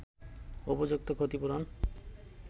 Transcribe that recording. উপযুক্ত ক্ষতিপূরণ